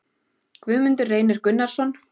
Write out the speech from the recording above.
Guðmundur Reynir Gunnarsson